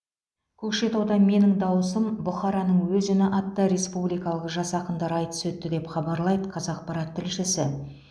көкшетауда менің дауысым бұхараның өз үні атты республикалық жас ақындар айтысы өтті деп хабарлайды қазақпарат тілшісі